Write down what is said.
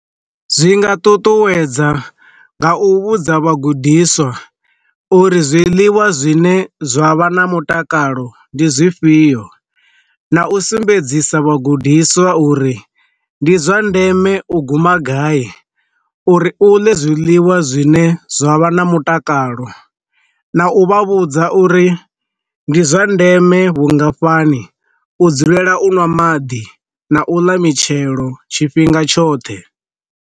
Zwi nga ṱuṱuwedza nga u vhudza vhagudiswa uri zwiḽiwa zwine zwa vha na mutakalo ndi zwifhio, na u sumbedzisa vhagudiswa uri ndi zwa ndeme u guma gai uri u ndi zwiḽiwa zwine zwa vha na mutakalo, na u vha vhudza uri ndi zwa ndeme vhungafhani u dzulela u ṅwa maḓi na u ḽa mitshelo tshifhinga tshoṱhe.